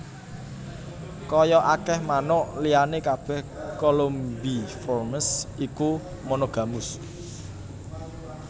Kaya akèh manuk liyané kabèh Columbiformes iku monogamus